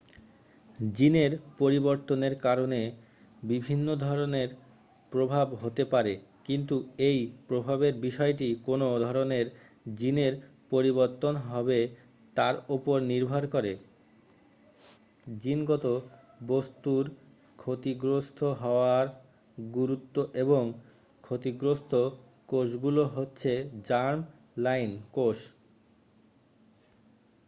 জিনের পরিবর্তনের কারণে বিভিন্ন ধরণের প্রভাব হতে পারে কিন্তু এই প্রভাবের বিষয়টি কোন ধরণের জিনের পরিবর্তন হবে তার উপর নির্ভর করে জিনগত বস্তুর ক্ষতিগ্রস্ত হওয়ার গুরুত্ব এবং ক্ষতিগ্রস্ত কোষগুলো হচ্ছে জার্ম-লাইন কোষ